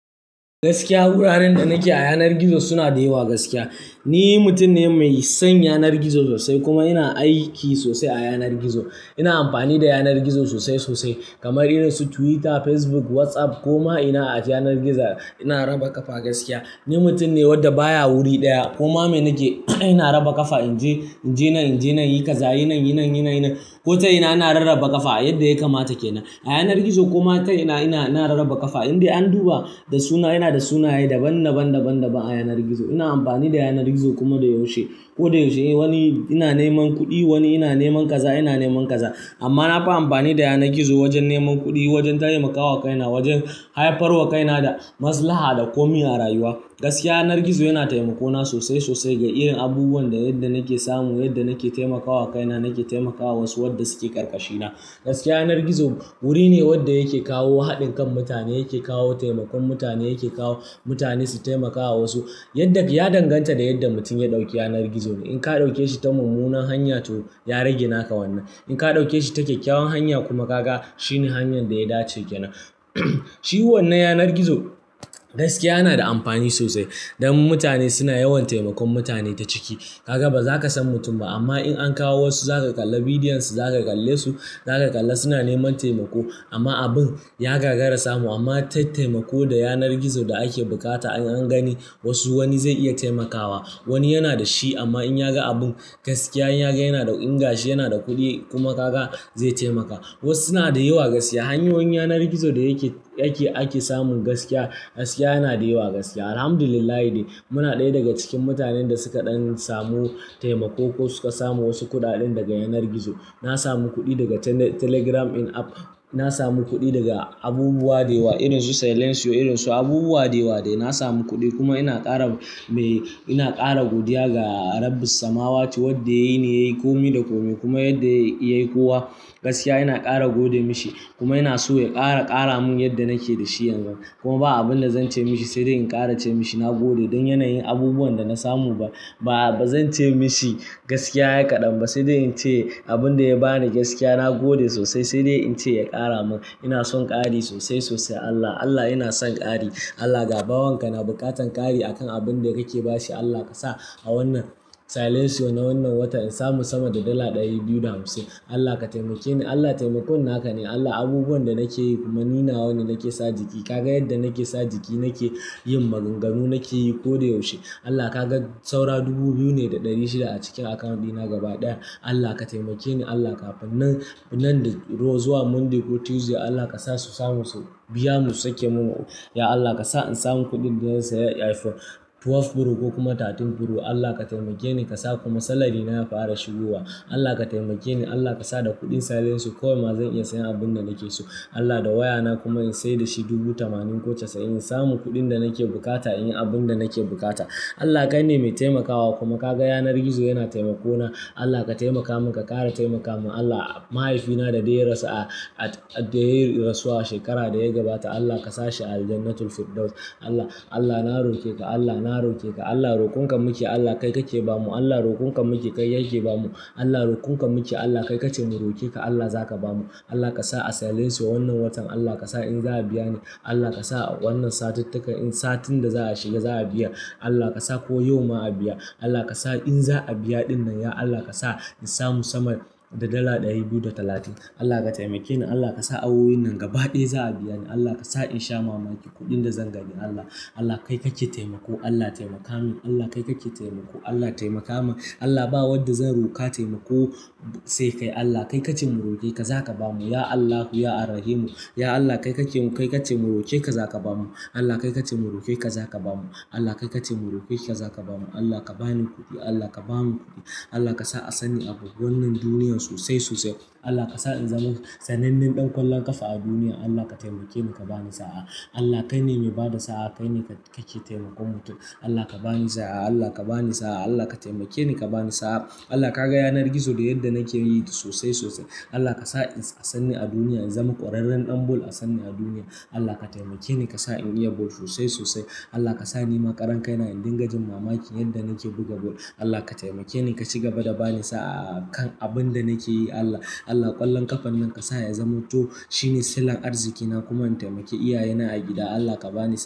Gaskiya, wuraren da nake a yanar gizo suna da yawa gaskiya. Ni mutum ne mai son yanar gizo sosai kuma ina aiki sosai a yanar gizo. Ina amfani da yanar gizo sosai sosai kamar irin su Twitter, Facebook, WhatsApp. Kuma ina a yanar gizo ina raba ƙafa gaskiya. Ni mutum ne wadda baya wuri ɗaya, kuma me nake ina raba ƙafa in je, in je nan, in je nan, yi kaza, yi nan, yi nan, yi nan. Ko ta ina, ina rarraba ƙafa yadda ya kamata kenan. A yanar gizo koma ta ina, ina, ina rarraba ƙafa indai an duba da suna, ina da sunaye daban daban, daban daban a yanar gizo. Ina amfani da yanar gizo kuma da yaushe. Ko da yaushe wani ina neman kuɗi, wani ina neman kaza, ina neman kaza. Amma nafi amfani da yanar gizo wajen neman kuɗi, wajen taimakawa kaina, wajen haifar wa kaina da maslaha da komi a rayuwa. Gaskiya yanar gizo yana taimako na sosai sosai ga irin abubuwan da yadda nake samu, yadda nake taimakawa kaina, nake taimakawa wasu wadda suke ƙarƙashina. Gaskiya yanar gizo wuri ne wadda yake kawo haɗin kan mutane, yake kawo taimakon mutane, yake kawo mutane su taimakawa wasu. Yadda ka, ya danganta da yadda mutum ya ɗauki yanar gizo ne. In ka ɗaukeshi ta mummunar hanya to ya rage naka wannan. In ka ɗauke shi ta kyakkyawan hanya kuma kaga shine hanyar da ya dace ke nan. Shi wannan yanar gizo gaskiya yana da amfani sosai don mutane suna yawan taimakon mutane ta ciki. Kaka ba za ka san mutum ba amma in an kawo wasu za ka kalla bidiyon su, za ka kalle su, za ka kalla suna neman taimako. Amma abin ya gagara samu amma ta taimako da yanar gizo da ake bukata in an gani wasu wani zai iya taimakawa. Wani yana da shi amma in ya ga abun gaskiya, in ya ga yana da ingashi, yana da kuɗi kuma kaga zai taimaka. Wasu suna da yawa gaskiya. Hanyoyin yanar gizo da yake, yake, ake samun gaskiya gaskiya yana da yawa gaskiya. Alhamdulillah dai muna ɗaya daga cikin mutanen da suka ɗan samu taimako ko suka samu wasu kuɗaɗen daga yanar gizo. Na samu kuɗi daga Tele-Telegram ɗin app. Na samu kuɗi daga abubuwa da yawa irin su Silentio, irin su abubuwa da yawa dai. Na samu kuɗi kuma ina ƙara mai, ina ƙara godiya ga Rabbis samawati wadda yayi ne yayi komi da komi. Kuma yadda yayi kowa gaskiya ina ƙara gode mashi kuma ina so ya ƙara, ƙara mun yadda nake da shi yanzu. Kuma ba abun da zan ce mashi sai dai in ƙara ce mashi na gode don yanayin abubuwan da na samu ba. Ba, ba zan ce mashi gaskiya yayi kaɗan ba sai dai in ce abun da ya bani gaskiya na gode sosai sai dai in ce ya ƙara mun. Ina son ƙari sosai sosai Allah. Allah ina son ƙari. Allah gabawanka na buƙatan ƙari akan abun da kake bashi. Allah ka sa a wannan Silentio na wannan watan in samu sama da dala ɗari biyu da hamsin. Allah ka taimakeni, Allah taimakon naka ne. Allah abubuwan da nake yi kuma ni na wani nake sa jiki. Kaga yadda nake sa jiki nakeyin maganganu nakeyi koda yaushe Allah ka ga saura dubu biyu ne da ɗari shida a cikin account ɗina gaba ɗaya. Allah ka taimakeni Allah kafin nan, nan da ro zuwa Monday ko Tuesday Allah ka sa su samu su biya mu sake mun. Ya Allah ka sa in samu kuɗin da zan saya iPhone 12 Pro ko kuma 13 Pro. Allah ka taimakeni ka sa kuma salary na ya fara shigowa. Allah ka taimakeni Allah ka sa da kuɗin Silentio kawai ma zan iya siyan abun da nake so. Allah da wayana kuma in sayar da shi dubu tamanin ko casa'in in samu kuɗin da nake buƙata in yi abun da nake buƙata. Allah kai ne mai taimakawa kuma ka ga yanar gizo yana taimako na. Allah ka taimaka mun ka ƙara taimaka mun. Allah mahaifina dadai ya rasu a, a, dadai ya rasu a shekarar da ya gabata Allah ka sa shi a Jannatul Firdaus. Allah, Allah na roƙe ka, Allah na roƙe ka, Allah roƙon ka muke Allah kai kake ba mu. Allah roƙon ka nake kai kake bamu Allah rokon ka muke Allah kai ka ce mu roke ka Allah za ka ba mu. Allah ka sa a Silentio wannan watan Allah ka sa in za a biya ni. Allah ka sa wannan satittakan in satin da za a shiga za a biya. Allah ka sa ko yau ma a biya. Allah ka sa in za a biya ɗin nan ya Allah ka sa in samu sama da dala ɗari biyu da talatin. Allah ka taimakeni Allah ka sa awowin nan gaba ɗaya za a biya ni. Allah ka sa in sha mamaki kuɗin da zan gani Allah. Allah kai kake taimako Allah taimaka mun. Allah kai kake taimako Allah taimaka mun. Allah ba wadda zan roƙa taimako sai kai. Allah kai ka ce mu roƙe ka za ka ba mu. Ya Allahu ya Alrahimu. Ya Allah kai kace mu roƙe ka zaka bamu Allah kai ka ce mu roke ka za ka ba mu. Allah kai ka ce mu roke ka za ka ba mu. Allah ka bani kuɗi, Allah ka ba mu kuɗi. Allah ka sa a sani abubuwan nan duniyan sosai sosai. Allah ka sa in zama sanannen ɗan kwallon ƙafa a duniya. Allah ka taimakeni ka bani sa'a. Allah kai ne mai ba da sa'a, kai ne ka, kake taimakon mutum. Allah ka bani sa'a, Allah ka bani sa'a, Allah ka taimakeni ka bani sa'a. Allah ka ga yanar gizo da yadda nake yi sosai sosai. Allah ka sa a sanni a duniya in zama ƙwararren ɗan ball a sani a duniya. Allah ka taimakeni ka sa in iya ball sosai sosai. Allah ka sa nima karan kaina in dinga jin mamaki yadda nake buga ball. Allah ka taimakeni ka shiga bada bani sa'a kan abun da nake yi Allah. Allah ƙwallon ƙafan nan ka sa ya zamanto shine sillar arziƙina kuma in taimake iyayena a gida. Allah ka bani sa'a.